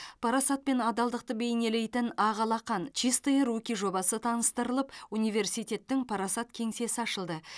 парасат пен адалдықты бейнелейтін ақ алақан чистые руки жобасы таныстырылып университеттің парасат кеңсесі ашылды